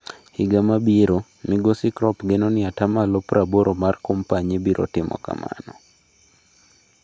Higa mabiro, Migosi Kropp geno ni atamalo praboro mar kompanyi biro timo kamano.